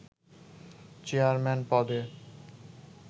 chairman পদে